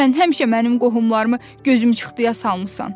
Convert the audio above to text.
Sən həmişə mənim qohumlarımı gözü çıxdıya salmısan.